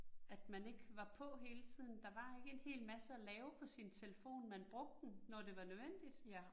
At man ikke var på hele tiden, der var ikke en hel masse at lave på sin telefon, man brugte den, når det var nødvendigt